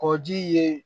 Kɔji ye